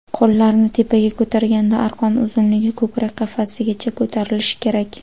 Qo‘llarni tepaga ko‘targanda arqon uzunligi ko‘krak qafasigacha ko‘tarilishi kerak.